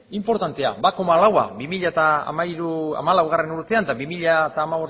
inportantea ehuneko bat koma lau bi mila hamalaugarrena urtean eta bi mila hamabostgarrena